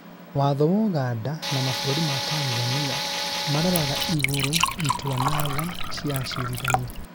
watho wa Uganda na mabũrũri ma Tanzania maroraga igũrũ itua na tha cia acirithania